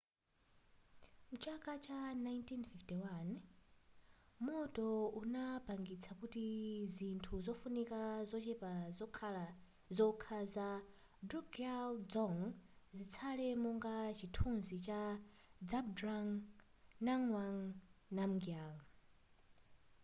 mchaka cha 1951 moto unapangitsa kuti zinthu zofunika zochepa zokha za drukgyal dzong zitsale monga chithunzi cha zhabdrung ngawang namgyal